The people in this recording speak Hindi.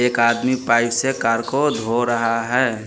एक आदमी पाइप से कार को धो रहा है।